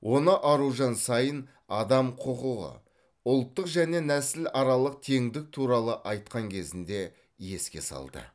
оны аружан саин адам құқығы ұлттық және нәсіл аралық теңдік туралы айтқан кезінде еске салды